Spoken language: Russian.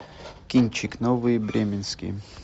кинчик новые бременские